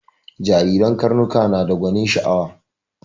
Jariren karnuka nada gwanin sha'awa